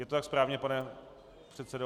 Je to tak správně, pane předsedo?